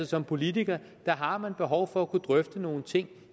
som politiker har man behov for at kunne drøfte nogle ting